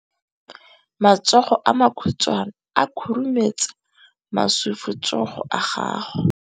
Matsogo a makhutshwane a khurumetsa masufutsogo a gago.